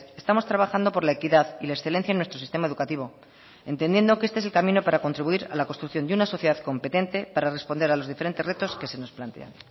estamos trabajando por la equidad y la excelencia en nuestro sistema educativo entendiendo que este es el camino para contribuir a la construcción de una sociedad competente para responder a los diferentes retos que se nos plantean